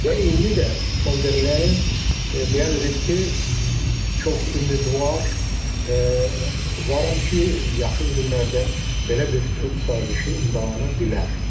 Və indi də Fon der Leyen bəyan edib ki, çox ümidvar varam ki, yaxın günlərdə belə bir sülh sazişi imzalana bilər.